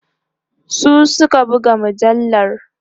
su Suka buga mujallar